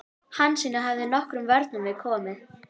Hansína hefði nokkrum vörnum við komið.